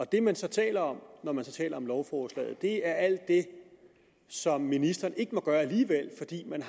det man så taler om når man så taler om lovforslaget er alt det som ministeren ikke må gøre alligevel fordi man